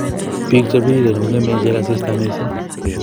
Biik chepiriren kong'eme ichek asista missing